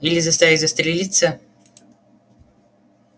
или заставить застрелиться